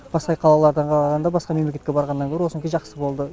басқа қалалардан қарағанда басқа мемлекетке барғаннан гөрі осынікі жақсы болды